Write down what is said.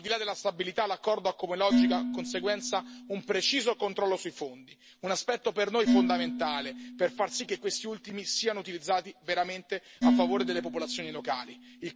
Al di là della stabilità, l'accordo ha come logica conseguenza un preciso controllo sui fondi si tratta di un aspetto per noi fondamentale, per far sì che questi ultimi siano utilizzati veramente a favore delle popolazioni locali.